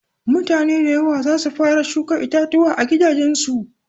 Mutane da yawa zasu fara shuka itatuwa a gidajen su.